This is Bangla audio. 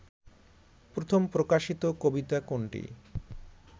প্রথম প্রকাশিত কবিতা কোনটি